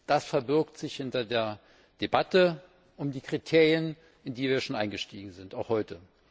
Das verbirgt sich hinter der Debatte um die Kriterien, in die wir schon eingestiegen sind auch heute.